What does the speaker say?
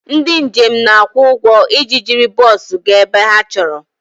Ndị njem na-akwụ ụgwọ iji jiri bọs gaa ebe ha chọrọ